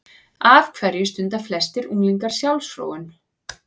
Af hverju stunda flestir unglingar sjálfsfróun?